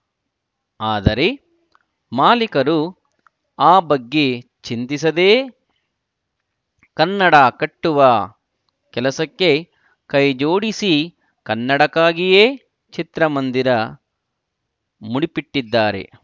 ಆದರೆ ಮಾಲಿಕರು ಆ ಬಗ್ಗೆ ಚಿಂತಿಸದೇ ಕನ್ನಡ ಕಟ್ಟುವ ಕೆಲಸಕ್ಕೆ ಕೈಜೋಡಿಸಿ ಕನ್ನಡಕ್ಕಾಗಿಯೇ ಚಿತ್ರಮಂದಿರ ಮುಂಡಿಪಿಟ್ಟಿದ್ದಾರೆ